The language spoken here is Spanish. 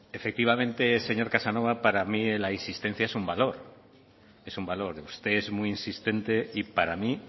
efectivamente señor casanova para mí la insistencia es un valor es un valor usted es muy insistente y para mí